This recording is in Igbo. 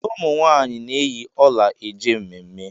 Ụmụ nwaanyị na-eyi ọla e je mmemme.